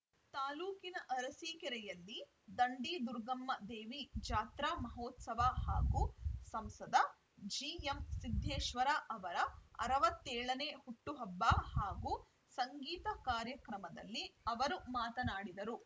ತಾಲೂಕಿನ ಅರಸೀಕೆರೆಯಲ್ಲಿ ದಂಡಿದುರ್ಗಮ್ಮ ದೇವಿ ಜಾತ್ರಾ ಮಹೋತ್ಸವ ಹಾಗೂ ಸಂಸದ ಜಿಎಂಸಿದ್ದೇಶ್ವರ ಅವರ ಅರವತ್ತ್ ಏಳನೇ ಹುಟ್ಟು ಹಬ್ಬ ಹಾಗೂ ಸಂಗೀತ ಕಾರ್ಯಕ್ರಮದಲ್ಲಿ ಅವರು ಮಾತನಾಡಿದರು